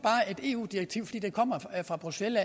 et eu direktiv fordi det kommer fra bruxelles